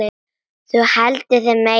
Þú heldur þig meiri.